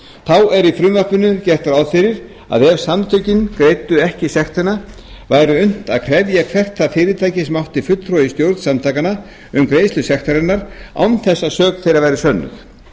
þá er í frumvarpinu gert ráð fyrir að ef samtökin greiddu ekki sektina væri unnt að krefja hvert það fyrirtæki sem átti fulltrúa í stjórn samtakanna um greiðslu sektarinnar án þess að sök þeirra væri sönnuð